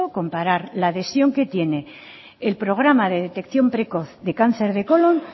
comparar la adhesión que tiene el programa de detección precoz de cáncer de colón